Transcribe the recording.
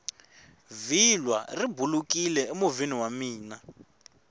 vhilwa ri bulukini emovheni wa mina